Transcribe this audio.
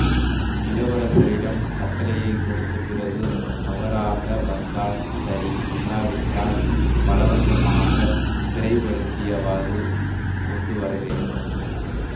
இளவரசரிடம் கட்டளையைக் கொடுத்த பிறகு அவராக வந்தால் சரி இல்லாவிட்டால் பலவந்தமாகச் சிறைப்படுத்தியாவது கொண்டு வரவேண்